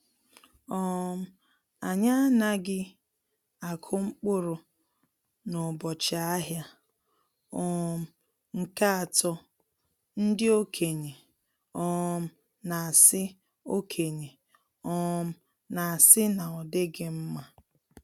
um Anyị anaghị akụ mkpụrụ n’ụbọchị ahịa um nke atọ ndi okenye um na-asị okenye um na-asị na ọdighi mma.